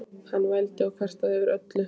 Hann vældi og kvartaði yfir öllu.